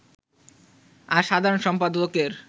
আর সাধারণ সম্পাদকের